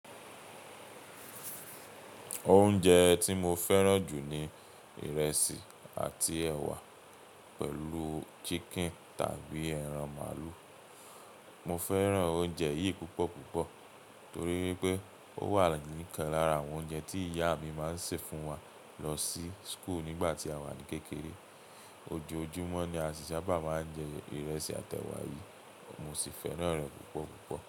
Oúnjẹ tí mo fẹ́ràn jù ni ìrẹsì àti ẹ̀wà pẹ̀lú chicken tàbí ẹran màálù. Mo fẹ́ràn oúnjẹ yìí púpọ̀púpọ̀ torí wipé ó wà ní ìkán lára àwọn oúnjẹ tí ìyá mi máa ń sè fún wa lọ sí school nígbà tí a wà ní kékeré. Ojoojúmọ́ ni a sì sábà máa ń jẹ ìrẹsì àti ẹwà yìí. Mo sì fẹ́ràn rẹ̀ púpọ̀púpọ̀.